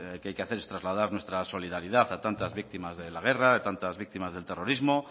que hay que hacer es trasladar nuestra solidaridad a tantas víctimas de la guerra tantas víctimas del terrorismo